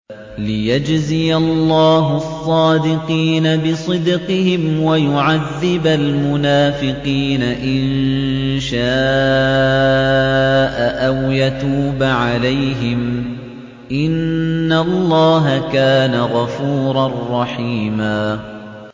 لِّيَجْزِيَ اللَّهُ الصَّادِقِينَ بِصِدْقِهِمْ وَيُعَذِّبَ الْمُنَافِقِينَ إِن شَاءَ أَوْ يَتُوبَ عَلَيْهِمْ ۚ إِنَّ اللَّهَ كَانَ غَفُورًا رَّحِيمًا